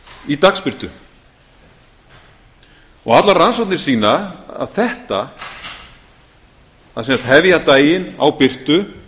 í dagsbirtu allar rannsóknir sýna að þetta að sem sagt hefja daginn á birtu